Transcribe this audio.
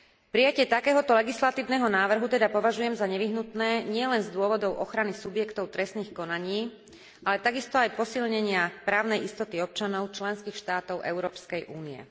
Prijatie takéhoto legislatívneho návrhu teda považujem za nevyhnutné nielen z dôvodu ochrany subjektov trestných konaní, ale takisto aj posilnenia právnej istoty občanov členských štátov Európskej únie.